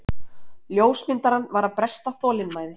Ljósmyndarann var að bresta þolinmæði.